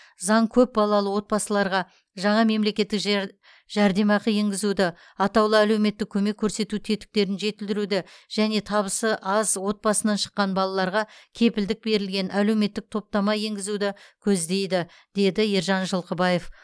заң көпбалалы отбасыларға жаңа мемлекеттік жэр жәрдемақы енгізуді атаулы әлеуметтік көмек көрсету тетіктерін жетілдіруді және табысы аз отбасынан шыққан балаларға кепілдік берілген әлеуметтік топтама енгізуді көздейді деді ержан жылқыбаев